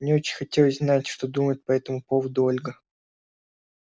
мне очень хотелось знать что думает по этому поводу ольга